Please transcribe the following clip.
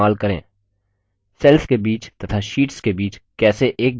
cells के बीच तथा शीट्स के बीच कैसे एक जगह से दूसरी जगह जाएँ